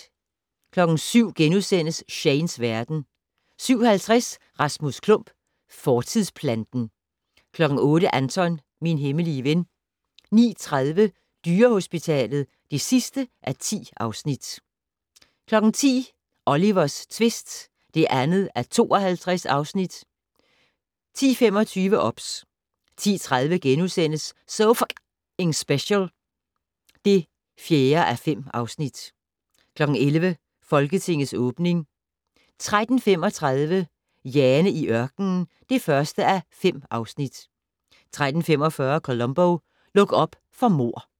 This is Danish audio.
07:00: Shanes verden * 07:50: Rasmus Klump - fortidsplanten 08:00: Anton - min hemmelige ven 09:30: Dyrehospitalet (10:10) 10:00: Olivers tvist (2:52) 10:25: OBS 10:30: So F***ing Special (4:5)* 11:00: Folketingets åbning 13:35: Jane i ørkenen (1:5) 13:45: Columbo: Luk op for mord